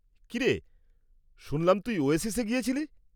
কী রে, শুনলাম তুই ওয়েসিসে গিয়েছিলি?